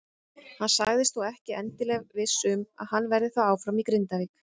Hann sagðist þó ekki endilega viss um að hann verði þá áfram í Grindavík.